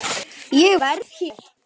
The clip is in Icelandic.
Ég verð hér